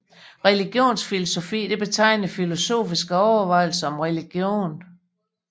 Religionsfilosofi betegner filosofiske overvejelser om religion